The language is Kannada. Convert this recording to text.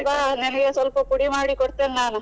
ಬಾ ನಿನಗೆ ಸ್ವಲ್ಪ ಪುಡಿ ಮಾಡಿ ಕೊಡ್ತೇನೆ ನಾನ್.